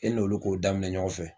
E n'olu k'o daminɛ ɲɔgɔn fɛ.